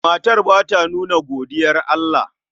Matar ba ta nuna godiyar Allah. The woman does not show contention.